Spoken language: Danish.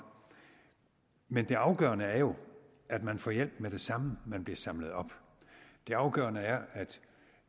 men det afgørende er jo at man får hjælp med det samme man bliver samlet op det afgørende er at